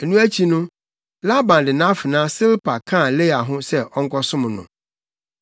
Ɛno akyi no, Laban de nʼafenaa Silpa kaa Lea ho sɛ ɔnkɔsom no.